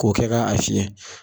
Ko kɛ k'a fiyɛ.